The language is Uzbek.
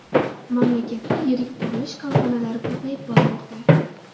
Mamlakatda yirik qurilish korxonalari ko‘payib bormoqda.